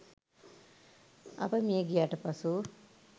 අප මියගියාට පසු